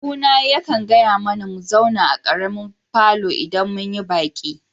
Ƙawuna ya ƙan gaya mana mu zauna a ƙaremin falon idan mun yi baki.